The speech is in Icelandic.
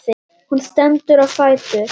Hún stendur á fætur.